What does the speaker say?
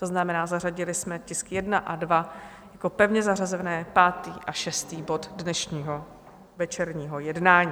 To znamená, zařadili jsme tisk 1 a 2 jako pevně zařazený pátý a šestý bod dnešního večerního jednání.